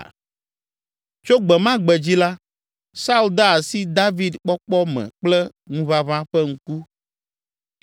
Tso gbe ma gbe dzi la, Saul de asi David kpɔkpɔ me kple ŋuʋaʋã ƒe ŋku.